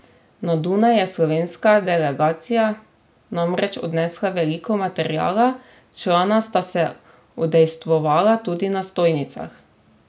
Na Dunaj je slovenska delegacija namreč odnesla veliko materiala, člana sta se udejstvovala tudi na stojnicah.